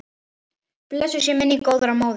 Blessuð sé minning góðrar móður.